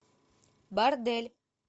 бордель